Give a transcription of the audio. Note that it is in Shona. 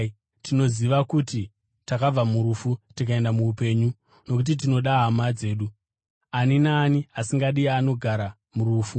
Tinoziva kuti takabva murufu tikaenda muupenyu, nokuti tinoda hama dzedu. Ani naani asingadi anogara murufu.